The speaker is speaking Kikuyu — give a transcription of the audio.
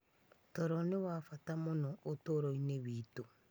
Toro nĩ wa bata mũno ũtũũro-inĩ witũ.